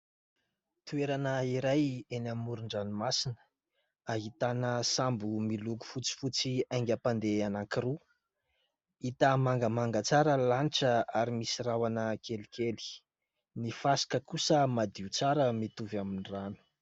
Toerana iray eny amoron-dranomasina. Ahitana sambo miloko fotsifotsy haingam-pandeha anankiroa. Hita mangamanga tsara ny lanitra ary misy rahona kelikely. Ny fasika kosa madio tsara mitovy amin'ny rano.